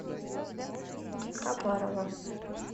хабарова